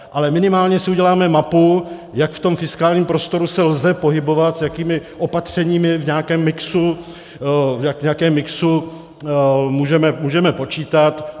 Ale minimálně si uděláme mapu, jak v tom fiskálním prostoru se lze pohybovat, s jakými opatřeními v nějakém mixu můžeme počítat.